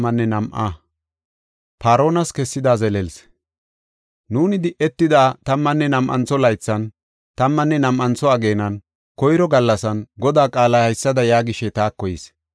Nuuni di7etida tammanne nam7antho laythan, tammanne nam7antho ageenan, koyro gallasan, Godaa qaalay haysada yaagishe taako yis.